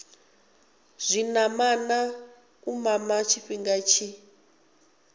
zwinamana u mama tshifhinga tshi